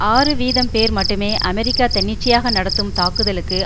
ஆறு வீதம் பேர் மட்டுமே அமெரிக்கா தன்னிச்சையாக நடத்தும் தாக்குதலுக்கு